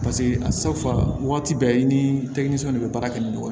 Paseke waati bɛɛ i ni de bɛ baara kɛ ni ɲɔgɔn ye